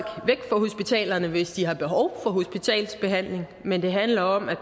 væk fra hospitalerne hvis de har behov for hospitalsbehandling men det handler om at